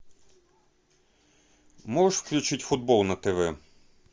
можешь включить футбол на тв